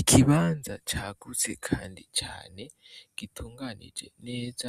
Ikibanza caguse kandi cane gitunganije neza,